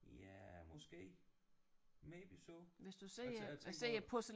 Ja måske maybe so altså jeg tænker på